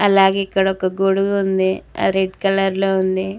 అలాగే ఇక్కడ ఒక గొడుగు ఉంది రెడ్ కలర్ లో ఉంది.